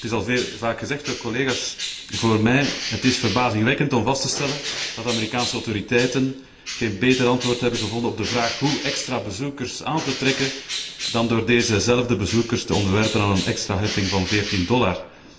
Het is al veel en vaak gezegd door collega's vóór mij het is verbazingwekkend om vast te stellen dat de Amerikaanse autoriteiten geen beter antwoord hebben gevonden op de vraag hoe extra bezoekers aan te trekken, dan door deze zelfde bezoekers te onderwerpen aan een extra heffing van 14 dollar.